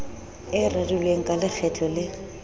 e rerilweng ka lekgetlo le